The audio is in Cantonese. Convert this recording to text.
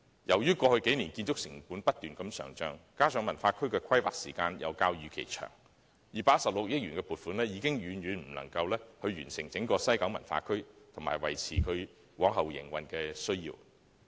由於過去數年建築成本不斷上漲，加上文化區的規劃時間較預期長 ，216 億元的撥款已經遠遠不足以完成整項西九文化區計劃，以及維持其日後的營運。